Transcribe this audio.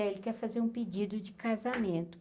É ele quer fazer um pedido de casamento.